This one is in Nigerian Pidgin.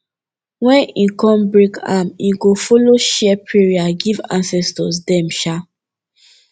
wen him kon break am him go follow share prayer give ancestors dem um